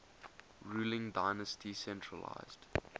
ruling dynasty centralised